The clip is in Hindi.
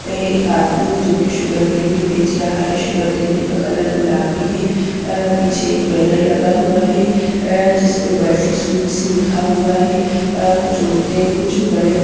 ये एक आदमी है जो की शुगर कैंडी बेच रहा है शुगर कैंडी का कलर गुलाबी है अ पीछे एक बैनर लगा हुआ है ए जिस पर बर्फी स्वीट्स लिखा हुआ है अ कुछ औरते कुछ बड़े--